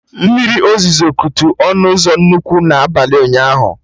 Mmiri ozuzo kutu ọnụ ụzọ nnukwu na abalị ụnyaahụ